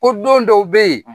Ko don dɔw be ye.